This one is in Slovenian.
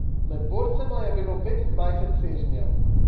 Med borcema je bilo petindvajset sežnjev.